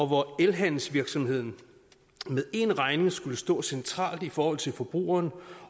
hvor elhandelsvirksomheden med én regning skulle stå centralt i forhold til forbrugeren